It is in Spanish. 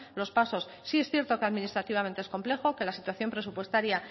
los pasos sí es cierto que administrativamente es complejo que la situación presupuestaria